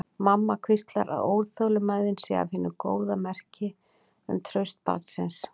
Mamma hvíslar að óþolinmæðin sé af hinu góða, merki um traust barnsins.